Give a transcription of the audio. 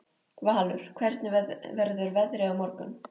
Valur, hvernig verður veðrið á morgun?